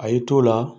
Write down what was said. A y'i to la